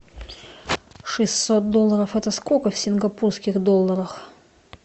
шестьсот долларов это сколько в сингапурских долларах